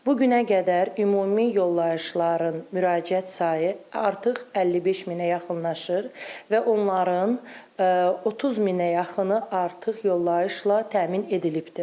Bu günə qədər ümumi yollayışların müraciət sayı artıq 55 minə yaxınlaşır və onların 30 minə yaxını artıq yollayışla təmin edilibdir.